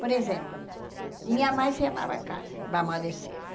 Por exemplo, minha mãe se chamava Carla, vamos dizer.